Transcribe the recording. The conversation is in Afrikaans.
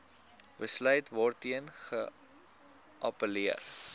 besluit waarteen geappelleer